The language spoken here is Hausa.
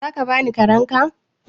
za ka bani karen ka?